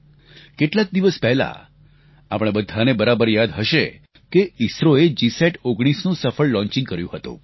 કેટલાક દિવસ પહેલાં આપણે બધાને બરાબર યાદ હશે કે ઇસરો એ જીસેટ19 નું સફળ લોન્ચિંગ કર્યું હતું